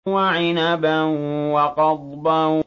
وَعِنَبًا وَقَضْبًا